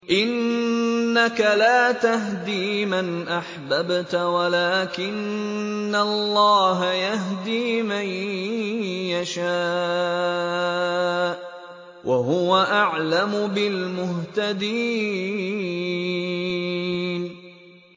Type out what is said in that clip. إِنَّكَ لَا تَهْدِي مَنْ أَحْبَبْتَ وَلَٰكِنَّ اللَّهَ يَهْدِي مَن يَشَاءُ ۚ وَهُوَ أَعْلَمُ بِالْمُهْتَدِينَ